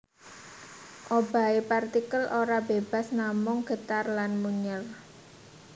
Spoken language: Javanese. Obahe partikel ora bebas namung getar lan munyèr